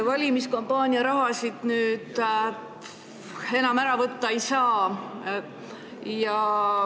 Valimiskampaania raha nüüd enam ära võtta ei saa.